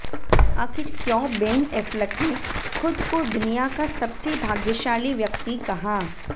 आखिर क्यों Ben Affleck ने खुद को दुनिया का सबसे भाग्यशाली व्यक्ति कहा